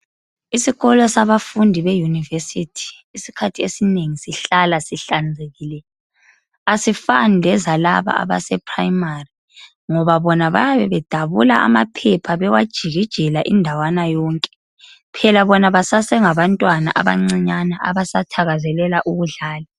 Isikolo sabafundi be yunivesithi isikhathi esinengi sihlala sihlanzekile asifani lezalaba abase primary ngoba bona bayabe bedabula amaphepha bewajikijela indawana yonke phela bona basasengabantwana abancinyane abasathakazelela ukudlala.